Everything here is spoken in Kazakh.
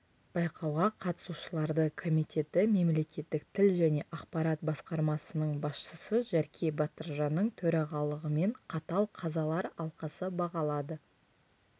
байқауға қатысушыларды комитеті мемлекеттік тіл және ақпарат басқармасының басшысы жәрке батыржанның төрағалығымен қатал қазалар алқасы бағалады